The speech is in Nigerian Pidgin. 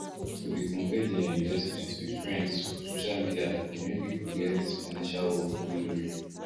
to dey compare their investment with friends for social media dey make people get financial hope wey no real